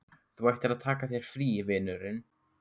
Þú ættir að taka þér frí, vinurinn.